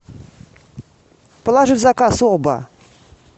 положи в заказ оба